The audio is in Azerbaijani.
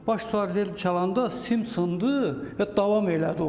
Baş sardi tel çalanda sim sındı və davam elədi o.